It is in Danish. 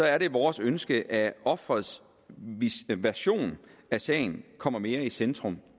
er det vores ønske at offerets version af sagen kommer mere i centrum